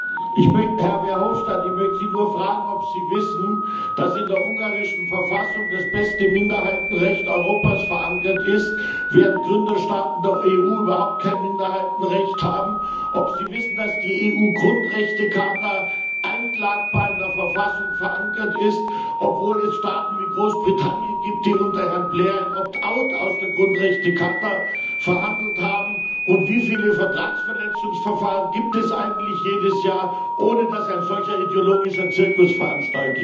Herr Verhofstadt, ich möchte Sie nur fragen, ob Sie wissen, dass in der ungarischen Verfassung das beste Minderheitenrecht Europas verankert ist, während Gründerstaaten der EU überhaupt kein Minderheitenrecht haben, und ob Sie wissen, dass die EU Grundrechtecharta einklagbar in der Verfassung verankert ist, obwohl es Staaten wie Großbritannien gibt, die unter Herrn Blair ein Opt out aus der Grundrechtecharta ausgehandelt haben. Wie viele Vertragsverletzungsverfahren gibt es eigentlich jedes Jahr, ohne dass ein solcher ideologischer Zirkus veranstaltet wird?